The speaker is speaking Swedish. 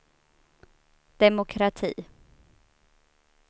demokrati